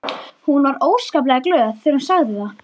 Hún var óskaplega glöð þegar hún sagði það.